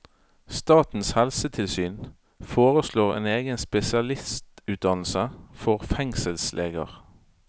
Statens helsetilsyn foreslår en egen spesialistutdannelse for fengselsleger.